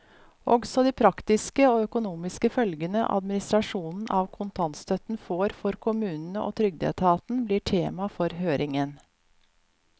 Også de praktiske og økonomiske følgene administrasjonen av kontantstøtten får for kommunene og trygdeetaten, blir tema for høringen.